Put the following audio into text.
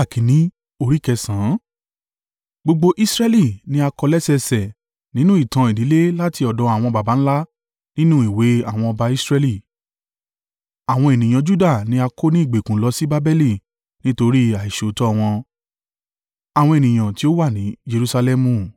Gbogbo Israẹli ni a kọ lẹ́sẹẹsẹ nínú ìtàn ìdílé láti ọ̀dọ̀ àwọn baba ńlá nínú ìwé àwọn ọba Israẹli. Àwọn ènìyàn Juda ni a kó ní ìgbèkùn lọ sí Babeli nítorí àìṣòótọ́ wọn.